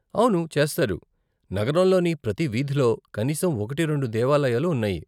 అవును, చేస్తారు, నగరంలోని ప్రతి వీధిలో కనీసం ఒకటి, రెండు దేవాలయాలు ఉన్నాయి.